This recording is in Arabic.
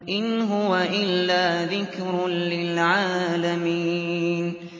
إِنْ هُوَ إِلَّا ذِكْرٌ لِّلْعَالَمِينَ